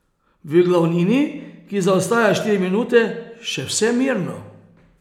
V glavnini, ki zaostaja štiri minute, še vse mirno.